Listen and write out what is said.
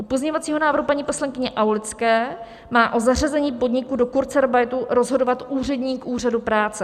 U pozměňovacího návrhu paní poslankyně Aulické má o zařazení podniku do kurzarbeitu rozhodovat úředník úřadu práce.